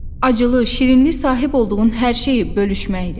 Acılı, şirinli sahib olduğun hər şeyi bölüşməkdir.